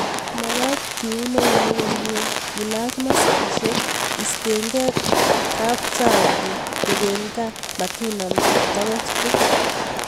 mekat keun eunek komyee, kelach maskisiek, istengei kapchang'bich, teben gaa, matinam toke buch